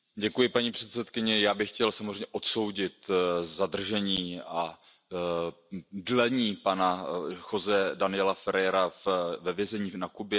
Paní předsedkyně, já bych chtěl samozřejmě odsoudit zadržení a prodlévání pana Josého Daniela Ferrera ve vězení na Kubě.